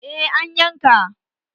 Eh, an yanka.